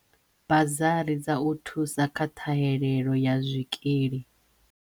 Bazari dza u thusa kha ṱhahelelo ya zwikili